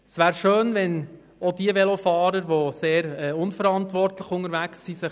Es wäre schön, wenn dies auch diejenigen Velofahrer beherzigen würden, die sehr unverantwortlich unterwegs sind.